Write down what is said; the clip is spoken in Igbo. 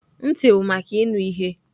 Ntị bụ maka ịnụ ihe.